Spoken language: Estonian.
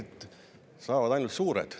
et saavad ainult suured.